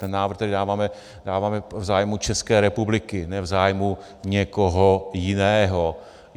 Ten návrh, který dáváme, dáváme v zájmu České republiky, ne v zájmu někoho jiného.